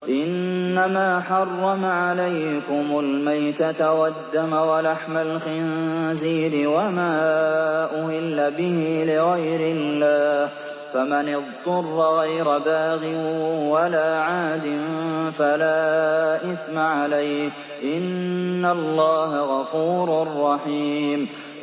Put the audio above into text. إِنَّمَا حَرَّمَ عَلَيْكُمُ الْمَيْتَةَ وَالدَّمَ وَلَحْمَ الْخِنزِيرِ وَمَا أُهِلَّ بِهِ لِغَيْرِ اللَّهِ ۖ فَمَنِ اضْطُرَّ غَيْرَ بَاغٍ وَلَا عَادٍ فَلَا إِثْمَ عَلَيْهِ ۚ إِنَّ اللَّهَ غَفُورٌ رَّحِيمٌ